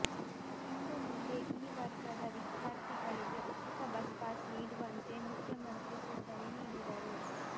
ಇನ್ನು ಮುಂದೆ ಈ ವರ್ಗದ ವಿದ್ಯಾರ್ಥಿಗಳಿಗೆ ಉಚಿತ ಬಸ್ಪಾಸ್ ನೀಡುವಂತೆ ಮುಖ್ಯಮಂತ್ರಿ ಸೂಚನೆ ನೀಡಿದರು